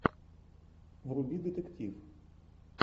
вруби детектив